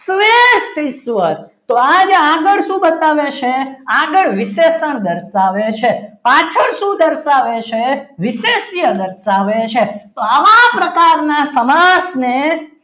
ઈશ્વર તો આજે આગળ શું બતાવે છે આગળ વિશેષણ દર્શાવે છે પાછળ છું દર્શાવે છે વિશેષ્ય દર્શાવે છે તો આવા પ્રકારના સમાસને